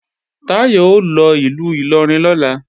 Táyọ̀ ó lọ ìlú Ìlọrin lọ́la